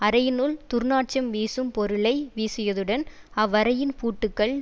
அறையினுள் துர்நாற்றும் வீசும் பொருளை வீசியதுடன் அவ்வறையின் பூட்டுக்கள்